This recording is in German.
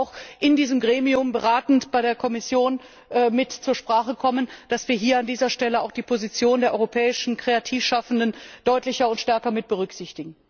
Dies sollte auch in diesem Gremium beratend bei der Kommission mit zur Sprache kommen, dass wir hier auch an dieser Stelle die Position der europäischen Kreativschaffenden deutlicher und stärker mit berücksichtigen.